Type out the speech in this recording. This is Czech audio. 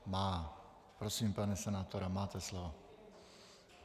Má. Prosím, pane senátore, máte slovo.